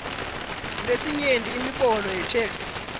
lesinyenti imibono yetheksthi